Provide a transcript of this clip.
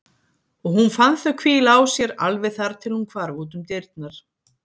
Og hún fann þau hvíla á sér alveg þar til hún hvarf út um dyrnar.